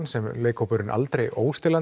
sem leikhópurinn aldrei